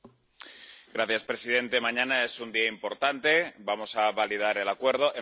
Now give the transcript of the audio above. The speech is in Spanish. Señor presidente, mañana es un día importante, vamos a validar el Acuerdo.